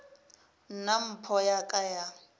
nna mpho ya ka ya